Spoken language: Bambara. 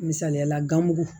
Misaliyala gamugu